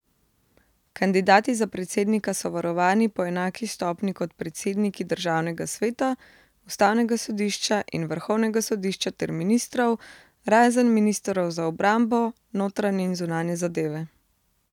Kandidati za predsednika so varovani po enaki stopnji kot predsedniki državnega sveta, ustavnega sodišča in vrhovnega sodišča ter ministrov, razen ministrov za obrambo, notranje in zunanje zadeve.